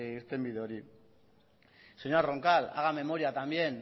irtenbide hori señora roncal haga memoria también